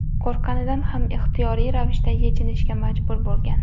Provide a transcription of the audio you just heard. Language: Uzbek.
qo‘rqqanidan ham ixtiyoriy ravishda yechinishga majbur bo‘lgan.